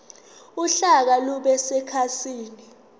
uhlaka lube sekhasini